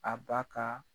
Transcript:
A ba ka